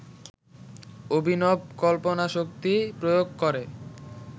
অভিনব কল্পনাশক্তি প্রয়োগ করে